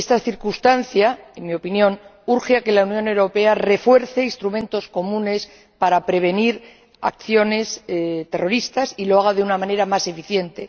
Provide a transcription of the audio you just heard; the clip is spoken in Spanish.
Esta circunstancia, en mi opinión, urge a que la Unión Europea refuerce instrumentos comunes para prevenir acciones terroristas y lo haga de una manera más eficiente.